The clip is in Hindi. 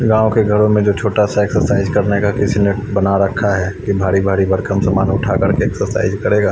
गांव के घरों में जो छोटा सा एक्सरसाइज करने का किसी ने बना रखा है कि भारी भारी भरकम सामान उठाकर के एक्सरसाइज करेगा।